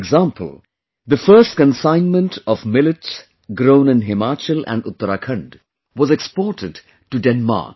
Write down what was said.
For example, the first consignment of millets grown in Himachal and Uttarakhand was exported to Denmark